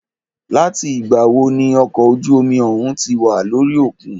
Láti ìgbà wo ní okọ̀ ojú omi òhún tí wà lórí òkun?